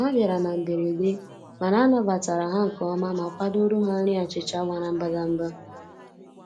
Ha bịara na mberede, mana anabatara ha nke ọma ma kwadoro ha nri achịcha mara mbadamba.